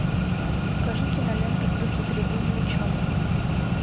покажи киноленту в духе трибуны ученого